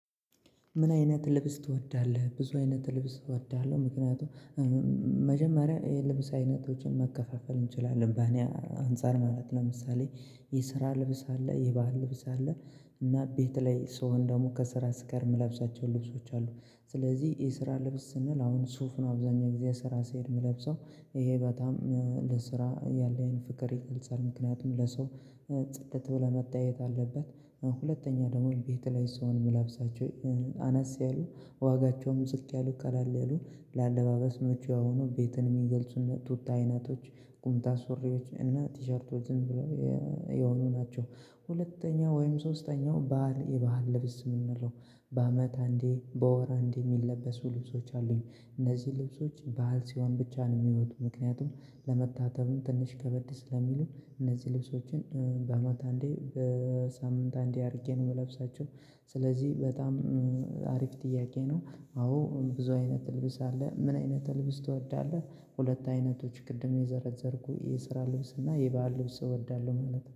ምን አይነት ልብስ ትወዳለህ? ብዙ አይነት ልብስ እወዳለሁ። ምክንያቱም መጀመሪያ የልብስ አይነቶችን መከፋፈል እንችላለን በእኔ አንፃር ማለት ነው። ለምሳሌ የስራ ልብስ አለ የባህል ልብስ አለ። እና ቤት ላይ ስሆን ደግሞ ከስራ ስቀር የምለብሳቸውን ልብሶች አሉ። ስለዚህ የስራ ልብስ ስንል አሁን ሱፍ ነው አብዛኛው ጊዜ ስራ ስሄድ የምለብሰው ይሄ በጣም ለስራ ያለኝ ፍቅር ይቀንሳል ምክንያቱም ለሰው ጽድት ብለህ መታየት አለበት። ሁለተኛ ደግሞ ቤት ላይ ስሆን የምለብሳቸው አነስ ያሉ ዋጋቸውም ዝቅ ያሉ ቀለል ያሉ ለአለባበስ ምቹ የሆኑ ቤትን የሚገልጹ እንደ ቱታ አይነቶች ቁምጣ ሱሪዎች እና ቲሸርቶች ዝም ብለው የሆኑ ናቸው። ሁለተኛ ወይም ሶስተኛው ባህል የባህል ልብስ የምንለው በአመት አንዴ በወር አንዴ የሚለበሱ ልብሶች አሉኝ። እነዚህ ልብሶች በዓል ሲሆን ብቻ ነው የሚወጡ ምክንያቱም ለመታጠብም ትንሽ ከበድ ስለሚሉ እነዚህ ልብሶችን በአመት አንዴ በሳምንት አንዴ አድርጌ ነው የምለብሳቸው ስለዚህ በጣም አሪፍ ጥያቄ ነው። አዎ ብዙ አይነት ልብስ አለ ምን አይነት ልብስ ትወዳለህ? ሁለት አይነቶች ቅድም የዘረዘርኩ የስራ ልብስ እና የባህል ልብስ እወዳለሁ ማለት ነው